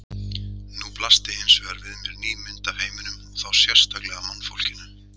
Nú blasti hins vegar við mér ný mynd af heiminum og þá sérstaklega mannfólkinu.